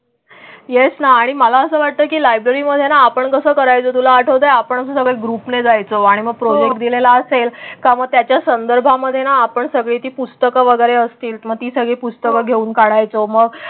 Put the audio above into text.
Yes ना आणि मला असं वाटतं की लायब्ररीमध्ये ना आपण कसं करायचं तुला आठवतं आपण सगळे ग्रूपला जायचं आणि मग प्रॉजेक्ट दिलेला असेल का? मग त्याच्या संदर्भामध्ये ना आपण सगळे पुस्तक वगैरे असतील. मग ती सगळी पुस्तकं घेऊन काढायचं मग.